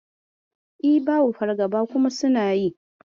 E, babu fargaba kuma suna yi.